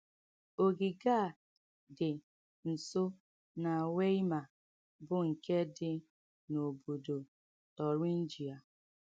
Ogige a dị nso na Weimar bụ́ nke dị n’obodo Thuringia.